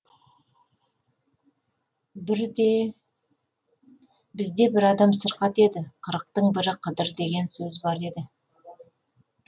бізде бір адам сырқат еді қырықтың бірі қыдыр деген сөз бар еді